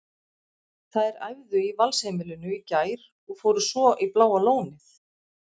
Þær æfðu í Valsheimilinu í gær og fóru svo í Bláa lónið.